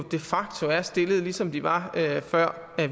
de facto er stillet ligesom det var før